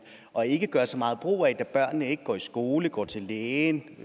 og ikke gør så meget brug af da børnene ikke går i skole går til lægen